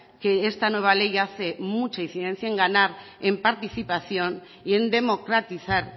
que esta nueva ley hace mucha incidencia en ganar en participación y en democratizar